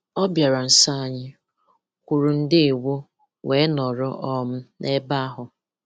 Ọ̀ bịara nso anyị, kwùrù ‘ndèwo’, wee nọrọ um n’ebe ahụ.